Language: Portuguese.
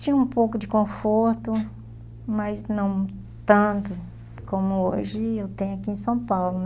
Tinha um pouco de conforto, mas não tanto como hoje eu tenho aqui em São Paulo.